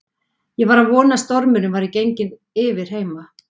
Ég var að vona að stormurinn væri genginn yfir heima.